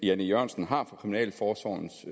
jan e jørgensen har for kriminalforsorgens